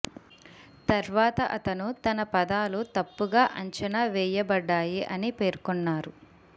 తర్వాత అతను తన పదాలు తప్పుగా అంచనా వెయ్యబడ్డాయి అని పేర్కొన్నారు